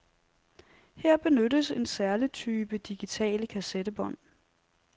Her benyttes en særlig type digitale kassettebånd.